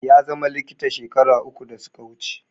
Ya zama likita shekaru uku da suka wuce